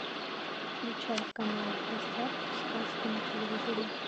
включай канал в гостях у сказки на телевизоре